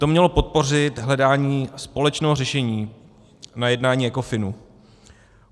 To mělo podpořit hledání společného řešení na jednání Ecofinu.